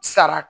Sara